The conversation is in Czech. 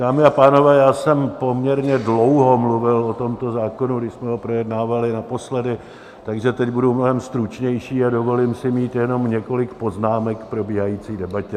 Dámy a pánové, já jsem poměrně dlouho mluvil o tomto zákonu, když jsme ho projednávali naposledy, takže teď budu mnohem stručnější a dovolím si mít jenom několik poznámek k probíhající debatě.